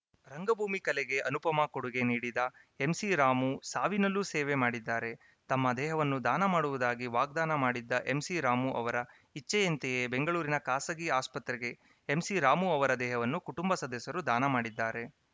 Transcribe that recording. ರಂಗಭೂಮಿ ಕಲೆಗೆ ಅನುಪಮ ಕೊಡುಗೆ ನೀಡಿದ ಎಂಸಿರಾಮು ಸಾವಿನಲ್ಲೂ ಸೇವೆ ಮಾಡಿದ್ದಾರೆ ತಮ್ಮ ದೇಹವನ್ನು ದಾನ ಮಾಡುವುದಾಗಿ ವಾಗ್ದಾನ ಮಾಡಿದ್ದ ಎಂಸಿರಾಮು ಅವರ ಇಚ್ಛೆಯಂತೆಯೇ ಬೆಂಗಳೂರಿನ ಖಾಸಗಿ ಆಸ್ಪತ್ರೆಗೆ ಎಂಸಿ ರಾಮು ಅವರ ದೇಹವನ್ನು ಕುಟುಂಬ ಸದಸ್ಯರು ದಾನ ಮಾಡಿದ್ದಾರೆ